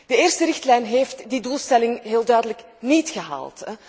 De eerste richtlijn heeft die doelstelling heel duidelijk niet gehaald.